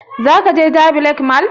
Za ka je jabi lake mall?